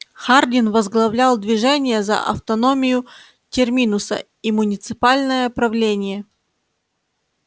хардин возглавлял движение за автономию терминуса и муниципальное правление